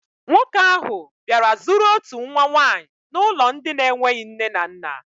Nwoke ahụ bịara zụrụ otu nwa nwaanyị n'ụlọ ndị na-enweghi nne na nna.